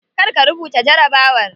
Kar ka rubuta jarabawar.